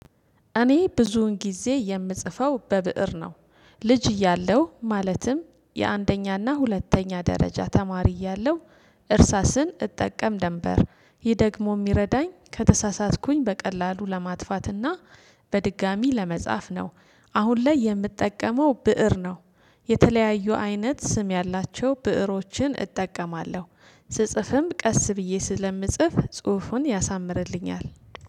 እኔ ብዙውን ጊዜ የምጽፈው በብእር ነው። ልጅ እያለው ማለትም የአንደኛና ሁለተኛ ደረጃ ተማሪ እያለሁ እርሳስን እጠቀም ደንበር ይህ ደግሞ የሚረዳኝ ከተሳሳትኩኝ በቀላሉ ለማጥፋትና በድጋሜ ለመጻፍ ነው። አሁን ላይ የምጠቀመው ብእር ነው። የተለያዩ አይነት ስም ያላቸው ብእሮችን እጠቀማለሁ ስጽፍም ቀስ ብዬ ስለምጽፍ ጽሁፉን ያሳምርልኛል